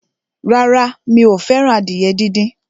Rárá, mi ò fẹ́ràn adìyẹ díndín.